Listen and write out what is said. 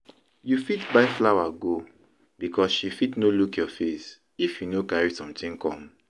You fit buy flower go because she fit no look your face if you no carry something come